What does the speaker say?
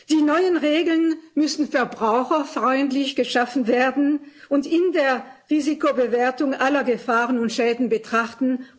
Die neuen Regeln müssen verbraucherfreundlich geschaffen werden und in der Risikobewertung alle Gefahren und Schäden betrachten.